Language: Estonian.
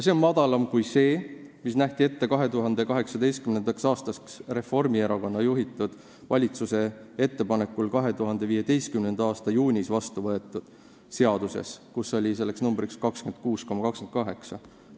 See on madalam kui see, mis nähti ette 2018. aastaks Reformierakonna juhitud valitsuse ettepanekul 2015. aasta juunis vastu võetud seaduses, kus selleks määraks oli 26,28.